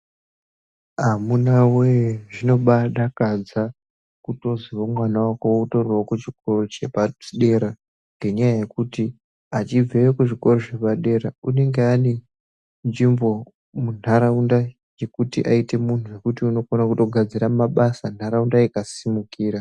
Amunawee zvinobadakadza kutoziwo mwana wako utoriwo kuchikoro chepadera ngenyaya yekuti achibveyo kuzvikora zvepadera unenge ane nzvimbo munharaunda yekuti aite munhu wekuti unokona kutogadzira mabasa nharaunda ikasimukira.